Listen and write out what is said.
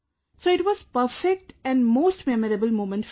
So it was perfect and most memorable moment for me